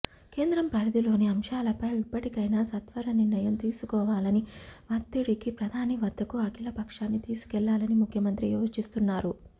కేంద్రం పరిధిలోని అంశాలపై ఇప్పటికైన సత్వర నిర్ణయం తీసుకోవాలని వత్తిడికి ప్రధాని వద్దకు అఖిల పక్షాన్ని తీసుకెళ్లాలని ముఖ్యమంత్రి యోచిస్తున్నారు